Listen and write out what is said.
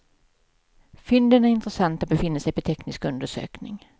Fynden är intressanta och befinner sig på teknisk undersökning.